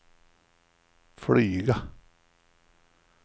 flyga